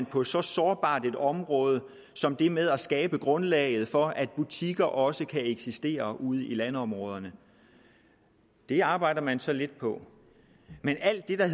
på så sårbart et område som det med at skabe grundlaget for at butikker også kan eksistere ude i landområderne det arbejder man så lidt på men alt det der